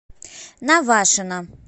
навашино